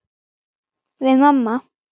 Við mamma.